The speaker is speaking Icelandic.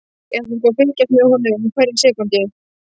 Ég ætla sko að fylgjast með honum hverja sekúndu.